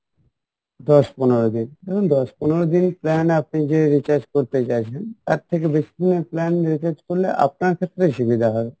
দশ পনেরো দিন দেখুন দশ পনেরো দিন plan আপনি যে recharge করতে চাইছেন তার থেকে বেশি দিনের plan recharge করলে আপনার ক্ষেত্রে সুবিধা হবে